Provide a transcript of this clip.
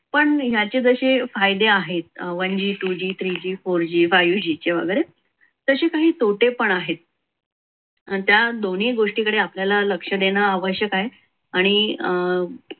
पण ह्याचे जसे फायदे आहेत one g two g three g four g five g चे वगैरे तसे काही तोटे पण आहेत. अन त्या दोन्ही गोष्टीकडे आपल्याला लक्ष देणे आवश्यक आहे. आणि अं